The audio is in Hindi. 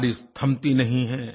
बारिश थमती नहीं है